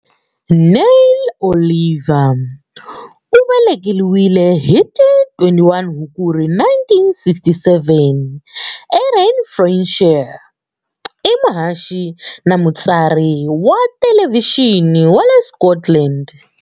Neil Oliver, u velekiwile hi ti 21 Hukuri 1967 e Renfrewshire, i muhaxi na mutsari wa thelevhixini wa le Scotland.